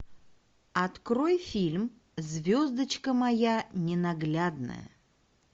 открой фильм звездочка моя ненаглядная